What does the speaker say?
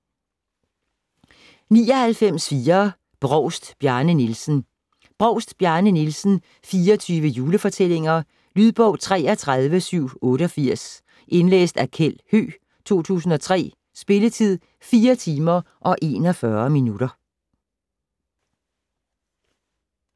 99.4 Brovst, Bjarne Nielsen Brovst, Bjarne Nielsen: 24 julefortællinger Lydbog 33788 Indlæst af Kjeld Høegh, 2003. Spilletid: 4 timer, 41 minutter.